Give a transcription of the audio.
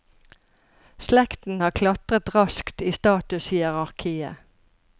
Slekten har klatret raskt i statushierarkiet.